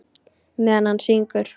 Meðan hann syngur.